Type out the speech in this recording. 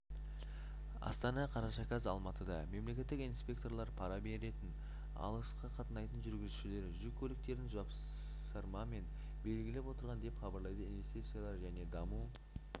астана қараша қаз алматыда мемлекеттік инспекторлар пара беретін алысқа қатынайтын жүргізушілердің жүк көліктерін жапсырмамен белгілеп отырған деп хабарлайды инвестициялар және даму